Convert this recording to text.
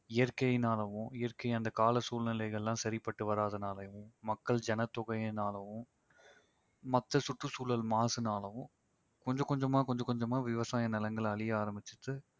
இயற்கையினாலவும் இயற்கை அந்த கால சூழ்நிலைகள்லாம் சரிப்பட்டு வராதனாலயும் மக்கள் ஜனத்தொகையினாலவும் மத்த சுற்றுச்சூழல் மாசுனாலவும் கொஞ்ச கொஞ்சமா கொஞ்ச கொஞ்சமா விவசாய நிலங்கள் அழிய ஆரம்பிச்சிட்டு